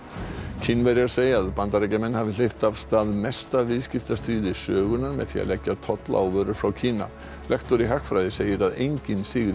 Kínverjar segja að Bandaríkjamenn hafi hleypt af stað mesta viðskiptastríði sögunnar með því að leggja tolla á vörur frá Kína lektor í hagfræði segir að enginn sigri í